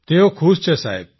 તેઓ ખુશ છે સાહેબ